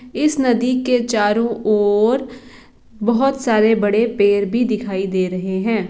इस नदी के चारो ओर बहुत सारे बड़े पेड़ भी दिखाई दे रहे है।